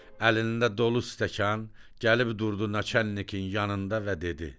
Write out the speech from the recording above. Əlində dolu stəkan gəlib durdu naçəlnikin yanında və dedi.